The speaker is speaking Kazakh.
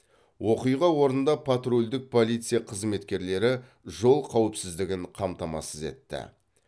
оқиға орнында патрульдік полиция қызметкерлері жол қауіпсіздігін қамтамасыз етті